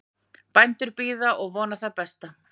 Bændur bíða og vona það besta